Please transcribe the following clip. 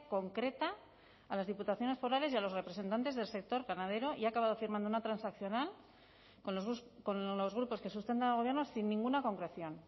concreta a las diputaciones forales y a los representantes del sector ganadero y ha acabado firmando una transaccional con los grupos que sustentan al gobierno sin ninguna concreción